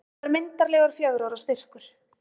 Þetta var myndarlegur fjögurra ára styrkur.